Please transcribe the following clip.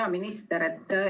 Hea minister!